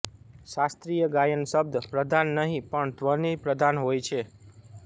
શાસ્ત્રીય ગાયન શબ્દ પ્રધાન નહીં પણ ધ્વનિ પ્રધાન હોય છે